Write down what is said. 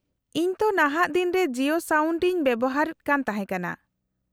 -ᱤᱧ ᱛᱚ ᱱᱟᱦᱟᱜ ᱫᱤᱱ ᱨᱮ ᱡᱤᱭᱳ ᱥᱟᱣᱱᱰ ᱤᱧ ᱵᱮᱣᱦᱟᱨᱮᱫ ᱠᱟᱱ ᱛᱟᱦᱮᱸ ᱠᱟᱱᱟ ᱾